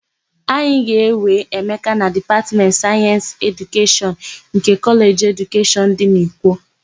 A ga-ewe Emeka na Dipatmentị Sayensị Edukeshọn nke Kọleji Edukeshọn dị n'Ikwo.